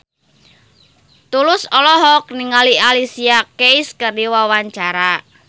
Tulus olohok ningali Alicia Keys keur diwawancara